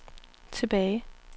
tilbage